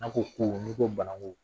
N ko ku n'i ko bananku